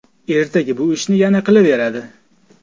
Ertaga bu ishni yana qilaveradi.